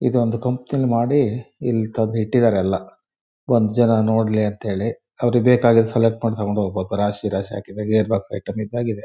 ಇದೊಂದು ಕಂಪನಿ ಅಲ್ಲಿ ಮಾಡಿ ಇಲ್ಲಿ ತಂದು ಇಟ್ಟಿದಾರೆ ಎಲ್ಲ ಬಂದು ಜನ ನೋಡಲಿ ಅಂತ ಹೇಳಿ ಅವ್ರಿಗ್ ಬೇಕಾಗಿದು ಸೆಲೆಕ್ಟ್ ಮಾಡಿ ತಕೊಂಡು ಹೋಗಬಹುದು ರಾಶಿ ರಾಶಿ ಹಾಕಿದ್ ಗೇರ್ ಬಾಕ್ಸ್ ಐಟಂ ಇದ್ದಂಗೆ ಇದೆ.